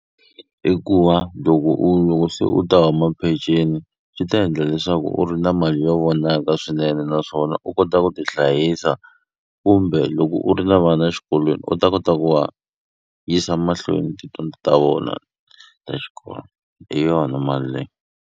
I ku va loko u loko se u ta huma peceni swi ta endla leswaku u ri na mali yo vonaka swinene naswona u kota ku ti hlayisa kumbe loko u ri na vana xikolweni u ta kota ku va yisa mahlweni tidyondzo ta vona ta xikolo hi yona mali leyi.